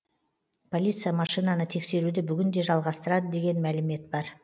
полиция машинаны тексеруді бүгін де жалғастырады деген мәлімет бар